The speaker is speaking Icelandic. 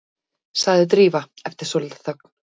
sagði Drífa eftir svolitla þögn.